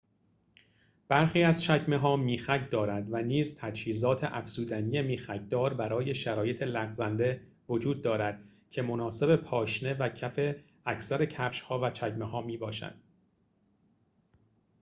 برخی از چکمه‌ها میخک دارد و نیز تجهیزات افزودنی میخک‌دار برای شرایط لغزنده وجود دارد که مناسب پاشنه و کف اکثر کفش‌ها و چکمه‌ها می‌باشد